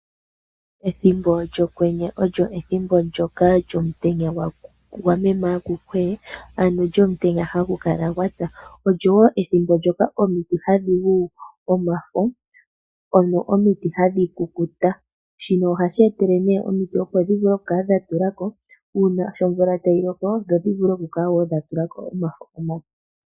Ethimbo lyokwenyo olyo ethimbo ndyoka lyomutenya gwameme akukwee! Ano lyomutenya hagu kala gwa tsa. Olyo wo ethimbo omiti hadhi gu omafo ano omiti hadhi kukuta. Shino ohashi etele nee omiti dhi vule okukala dha tula ko uuna sho omvula tayi loko dho dhi vule okukala wo dha tula ko omafo omape.